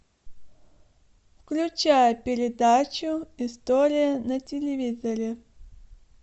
включай передачу история на телевизоре